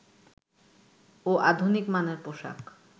ও আধুনিক মানের পোশাক